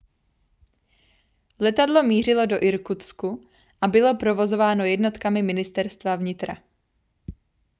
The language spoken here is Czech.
letadlo mířilo do irkutsku a bylo provozováno jednotkami ministerstva vnitra